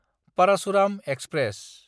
Parasuram express